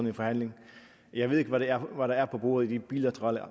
en forhandling jeg ved ikke hvad der er på bordet i de bilaterale